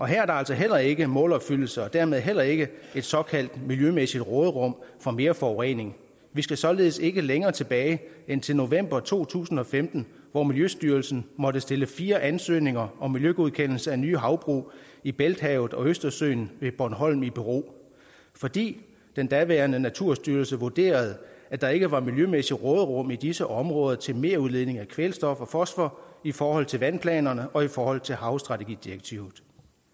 her er der altså heller ikke målopfyldelse og dermed heller ikke et såkaldt miljømæssigt råderum for mere forurening vi skal således ikke længere tilbage end til november to tusind og femten hvor miljøstyrelsen måtte stille fire ansøgninger om miljøgodkendelse af nye havbrug i bælthavet og østersøen ved bornholm i bero fordi den daværende naturstyrelse vurderede at der ikke var miljømæssigt råderum i disse områder til merudledning af kvælstof og fosfor i forhold til vandplanerne og i forhold til havstrategidirektivet